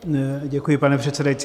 Děkuji, pane předsedající.